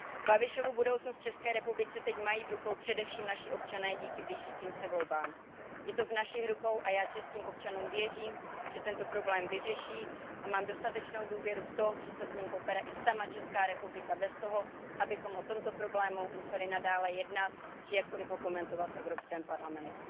Babišovu budoucnost v České republice teď mají v rukách především naši občané díky blížícím se volbám. Je to v našich rukou a já českým občanům věřím, že tento problém vyřeší, a mám dostatečnou důvěru v to, že se s ním popere i sama Česká republika bez toho, abychom o tomto problému museli nadále jednat či jakkoli ho komentovat v Evropském parlamentu.